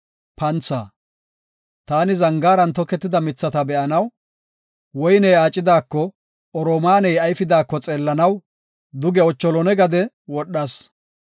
Taani zangaaran toketida mithata be7anaw, woyney aacidako oromaaney ayfidaako xeellanaw, duge ocholone gade wodhas.